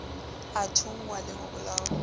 a thunngwa le ho bolawa